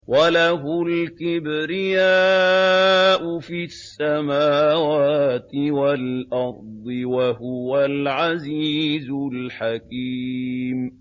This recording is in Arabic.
وَلَهُ الْكِبْرِيَاءُ فِي السَّمَاوَاتِ وَالْأَرْضِ ۖ وَهُوَ الْعَزِيزُ الْحَكِيمُ